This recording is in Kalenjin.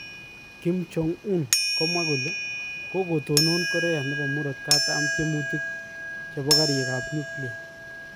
Kim Jong Un: Kokotonon Korea nebo murogatam tyemutik chebo karik ab nuklia